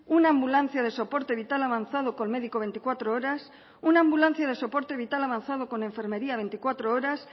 una ambulancia de soporte vital avanzado con médico veinticuatro horas una ambulancia de soporte vital avanzado con enfermería veinticuatro horas